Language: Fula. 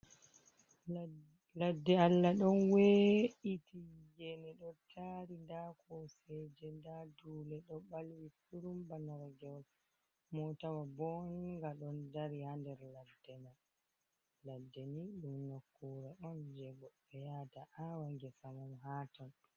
Lad. Ladde Allah ɗon we’iti gene ɗo tari, nda koseje, nda dule ɗo balwi kurum ba nargewol, motawa bonga ɗon dari ha der ladde man. Ladde ni ɗum nokkure on je goddo yata a'wa gesamum ha ton.